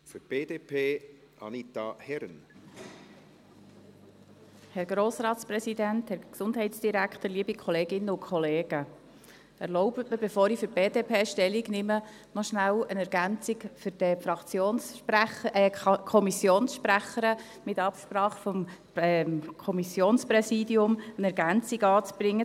Erlauben Sie mir, bevor ich für die BDP Stellung nehme, nach Absprache mit dem Kommissionspräsidium schnell eine Ergänzung für die Kommissionssprecherin zur Planungserklärung 4 anzubringen: